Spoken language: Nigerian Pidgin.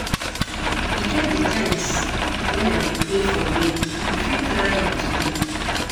E get di times wen I dey play for rain, you fit try am today.